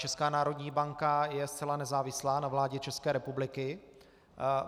Česká národní banka je zcela nezávislá na vládě České republiky.